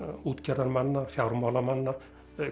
útgerðarmanna fjármálamanna